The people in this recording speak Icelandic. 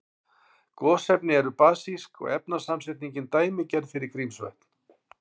Gosefni eru basísk og efnasamsetningin dæmigerð fyrir Grímsvötn.